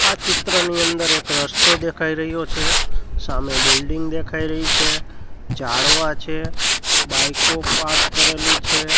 આ ચિત્રની અંદર એક રસ્તો દેખાય રહ્યો છે સામે બિલ્ડીંગ દેખાય રહી છે ઝાડવા છે બાઈક પાર્ક કરેલી છે.